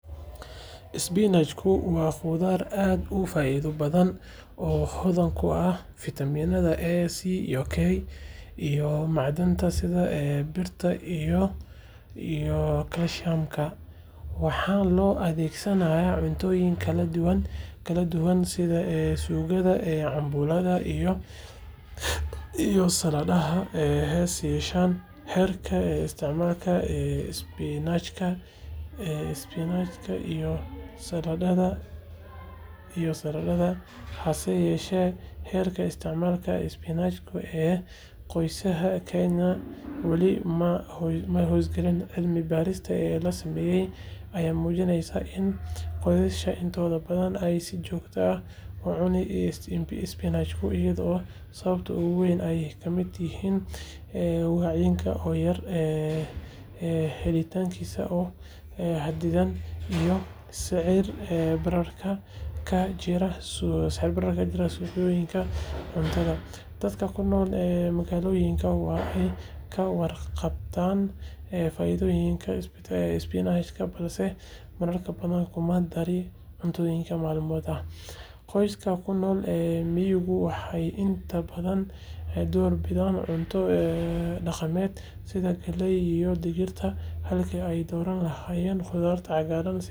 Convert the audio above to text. Isbinaajku waa khudaar aad u faa’iido badan oo hodan ku ah fiitamiinada A, C iyo K, iyo macdanta sida birta iyo kaalsiyamka. Waxaa loo adeegsadaa cuntooyin kala duwan sida suugada, cambuulada iyo saladaha. Hase yeeshee, heerka isticmaalka isbinaajka ee qoysaska Kenya weli waa hooseeyahay. Cilmi baarisyo la sameeyay ayaa muujinaya in qoysaska intooda badan aysan si joogto ah u cunin isbinaaj, iyadoo sababaha ugu waaweyn ay ka mid yihiin wacyiga oo yar, helitaankiisa oo xaddidan, iyo sicir-bararka ka jira suuqyada cuntada. Dadka ku nool magaalooyinka waa ay ka warqabtaan faa’iidooyinka isbinaajka balse marar badan kuma darin cuntadooda maalinlaha ah. Qoysaska ku nool miyiguna waxay inta badan door bidaan cunto dhaqameedka sida galleyda iyo digirta halkii ay ka dooran lahaayeen khudaar cagaaran sida isbinaaj. Si loo kordhiyo isticmaalka isbinaajka, waxaa muhiim ah in la sameeyo wacyigelin bulshada ah iyo in la fududeeyo helitaanka isbinaaj tayo leh qiimo jaban si gaar ah loogu dhiirrigeliyo qoysaska danyarta ah.